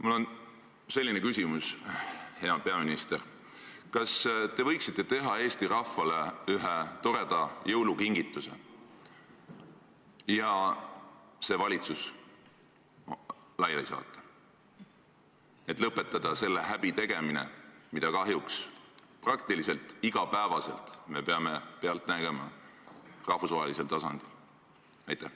Mul on selline küsimus, hea peaminister: kas te võiksite teha Eesti rahvale ühe toreda jõulukingituse ja selle valitsuse laiali saata, et lõpetada selle häbi tegemine, mida me kahjuks praktiliselt iga päev peame nägema rahvusvahelisel tasandil?